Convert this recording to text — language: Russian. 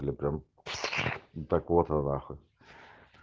ну прям так вот она нахуй